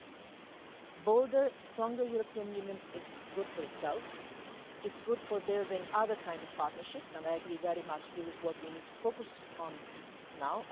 A bolder, stronger European Union is good for itself, it is good for building other kinds of partnerships, and I very much agree that this is what we need to focus on now.